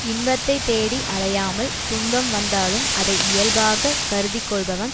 இன்பத்தை தேடி அலையாமல் துன்பம் வந்தாலும் அதை இயல்பாக கருதிப்கொள்பவன்